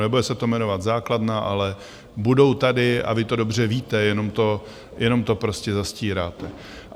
Nebude se to jmenovat základna, ale budou tady, a vy to dobře víte, jenom to prostě zastíráte.